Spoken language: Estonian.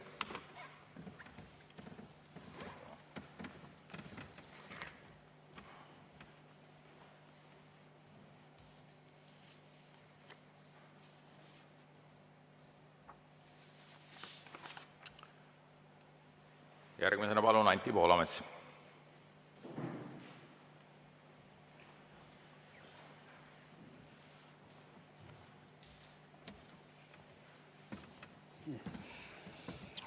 Järgmisena palun, Anti Poolamets!